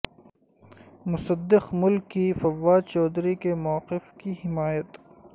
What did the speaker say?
مصدق ملک کی فواد چوہدری کے موقف کی حمایت